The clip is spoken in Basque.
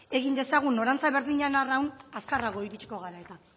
egin dezagun norantza berdinean arraun azkarrago iritsiko gara eta